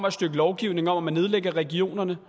et stykke lovgivning om at man nedlægger regionerne